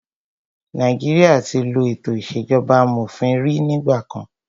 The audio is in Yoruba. Nàìjíríà tí ló ètò ìṣèjọba amòfin rí nígbà kan.